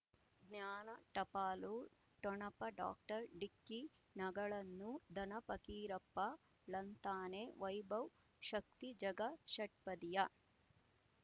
ಜ್ಞಾನ ಟಪಾಲು ಠೊಣಪ ಡಾಕ್ಟರ್ ಢಿಕ್ಕಿ ಣಗಳನು ಧನ ಫಕೀರಪ್ಪ ಳಂತಾನೆ ವೈಭವ್ ಶಕ್ತಿ ಝಗಾ ಷಟ್ಪದಿಯ